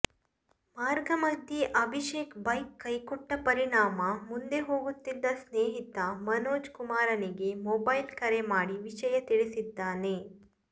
ಮಾರ್ಗಮಧ್ಯೆ Abhishek bike ಕೈಕೊಟ್ಟ ಪರಿಣಾಮ ಮುಂದೆ ಹೋಗುತ್ತಿದ್ದ ಸ್ನೇಹಿತ ಮನೋಜ್ ಕುಮಾರನಿಗೆ ಮೊಬೈಲ್ ಕರೆ ಮಾಡಿ ವಿಷಯ ತಿಳಿಸಿದ್ದಾನೆ